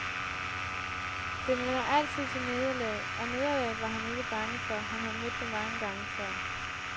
Den vender altid til nederlag, og nederlaget er han ikke bange for, han har mødt det mange gange før.